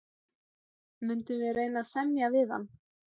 Munum við reyna að semja við hann?